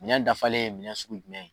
Minɛn dafalen ye minɛn sugu jumɛn ye ?